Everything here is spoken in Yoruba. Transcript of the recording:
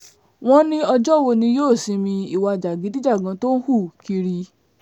wọ́n ní ọjọ́ wo ni yóò sinmi ìwà jàgídíjàgan tó ń hù kiri